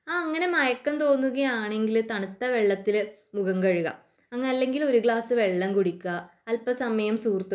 അങ്ങനെ മയക്കം തോന്നുക ആണെങ്കിൽ തണുത്ത വെള്ളത്തിൽ മുഖം കഴുകുക അല്ലെങ്കിൽ ഒരു ഗ്ലാസ് വെള്ളം കുടിക്കുക അല്ലെകിൽ കുറച്ചു സമയം